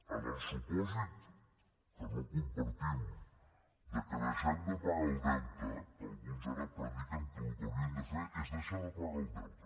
en el supòsit que no compartim que deixem de pagar el deute que alguns ara prediquen que el que haurien de fer és deixar de pagar el deute